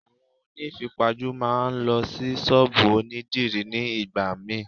Àwọn oní ìfipajú máa ń lo Ṣọ́bùù òní dìrí ní ìgbà míì.